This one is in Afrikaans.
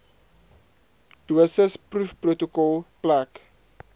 dosis proefprotokol plek